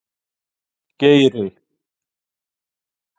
Geiri